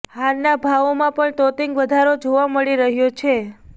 હારના ભાવોમાં પણ તોતિંગ વધારો જોવા મળી રહ્યો છે